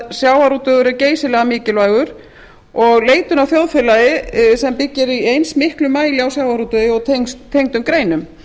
sjávarútvegur er geysilega mikilvægur og leitun að þjóðfélagi sem byggir í eins miklum mæli á sjávarútvegi og tengdum greinum